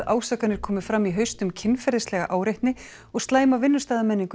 ásakanir komu fram í haust um kynferðislega áreitni og slæma